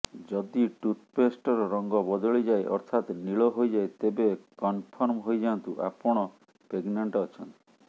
ଯଦି ଟୁଥପେଷ୍ଟର ରଙ୍ଗ ବଦଳିଯାଏ ଅର୍ଥାତ ନୀଳ ହୋଇଯାଏ ତେବେ କନଫର୍ମ ହୋଇଯାନ୍ତୁ ଆପଣ ପେଗନାଣ୍ଟ ଅଛନ୍ତି